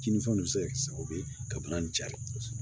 Kininfɛn bɛ se ka kɛ sababu ye ka bana in cari kosɛbɛ